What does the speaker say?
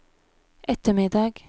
ettermiddag